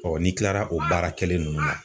n'i tilara o baara kɛlen nunnu na